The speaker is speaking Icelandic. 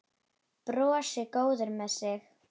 Brosir, góður með sig.